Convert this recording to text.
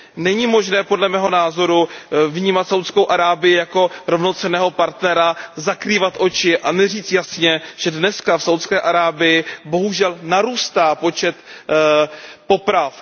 Není možné, podle mého názoru, vnímat Saúdskou Arábii jako rovnocenného partnera, zakrývat si oči a neříct jasně, že dnes v Saúdské Arábii bohužel narůstá počet poprav.